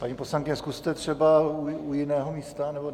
Paní poslankyně, zkuste třeba u jiného místa.